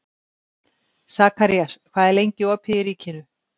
Sakarías, hvað er lengi opið í Ríkinu?